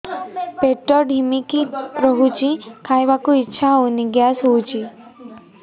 ପେଟ ଢିମିକି ରହୁଛି ଖାଇବାକୁ ଇଛା ହଉନି ଗ୍ୟାସ ହଉଚି